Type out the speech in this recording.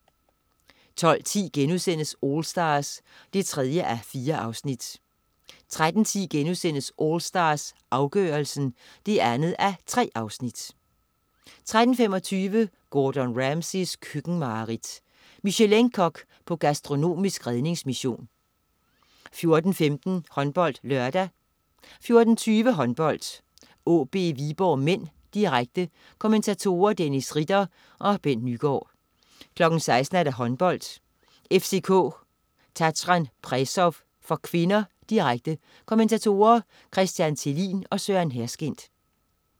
12.10 AllStars 3:4* 13.10 AllStars, afgørelsen 2:3* 13.25 Gordon Ramsays køkkenmareridt. Michelin-kok på gastronomisk redningsmission 14.15 HåndboldLørdag 14.20 Håndbold: AaB-Viborg (m), direkte. Kommentatorer: Dennis Ritter og Bent Nyegaard 16.00 Håndbold: FCK-Tatran Presov (k), direkte. Kommentatorer: Christian Thelin og Søren Herskind